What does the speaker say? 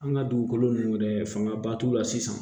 An ka dugukolo nunnu yɛrɛ fanga ba t'u la sisan